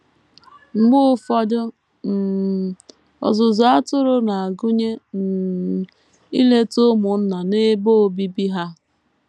Mgbe ụfọdụ, um ọzụzụ atụrụ na - agụnye um ileta ụmụnna n’ebe obibi ha.